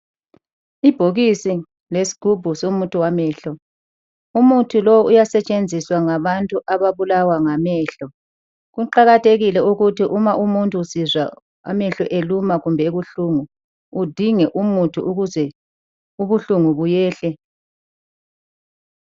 Ibhokisi lesigubhu somuthi wamehlo. Umuthi lo uyasetshenziswa ngabantu ababulawa ngamehlo. Kuqakathekile ukuthi uma umuntu esizwa amehlo eluma kumbe ebuhlungu, udinge umuthi ukuze ubuhlungu buyehle.